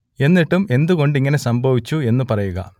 എന്നിട്ടും എന്ത് കൊണ്ട് ഇങ്ങനെ സംഭവിച്ചു എന്ന് പറയുക